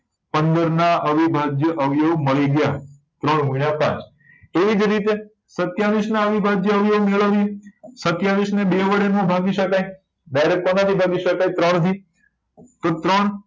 પંદર ના અવિભાજ્ય અવયવી મળી ગયા ત્રણ ગુણ્યા પાંચ એ જ રીતે સતીયાવીસ ના અવયવી મેળવીએ સતીયાવીસ ને બે વડે નો ભાગી શકાય direct કોના થી ભાગી શકાય ત્રણ થી તો ત્રણ